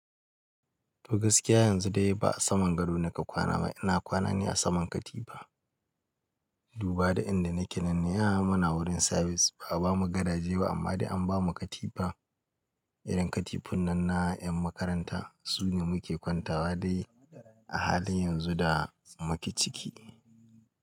To gaskiya yanzu dai ba a saman gado naka kwana ba ina kwana ne a saman katifa. Duba da inda nake nan, ni ai muna wurin service, ba bamu gadaje ba amma dai an bamu katifa. Irin katifun nan na yan makaranta, su ne muke kwanta wa dai a halin yanzu da muke ciki.